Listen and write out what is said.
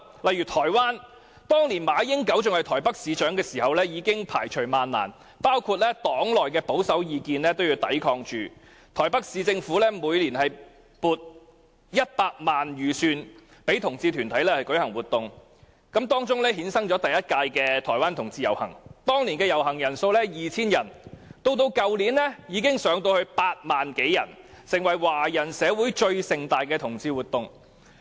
在台灣，當馬英九仍是台北市市長時，已經排除萬難，無懼黨內保守派的反對意見，台北市政府每年撥出100萬元予同志團體舉行活動，因而衍生台灣同志遊行，第一屆有 2,000 人參與遊行，而去年參與人數已上升至8萬多，成為華人社會中最盛大的同志活動。